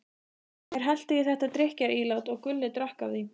Þeir helltu í þetta drykkjarílát og Gulli drakk af því.